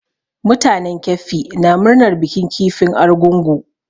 Mutanen keffi na murnar bikin kifin argungu.